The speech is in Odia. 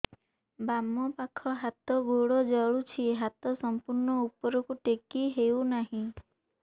ବାମପାଖ ହାତ ଗୋଡ଼ ଜଳୁଛି ହାତ ସଂପୂର୍ଣ୍ଣ ଉପରକୁ ଟେକି ହେଉନାହିଁ